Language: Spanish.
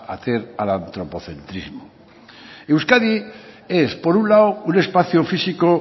hacer al antropocentrismo euskadi es por un lado un espacio físico